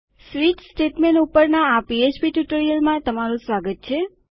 switch statement ઉપરના આ PHP ટ્યુટોરીયલમાં તમારું સ્વાગત છે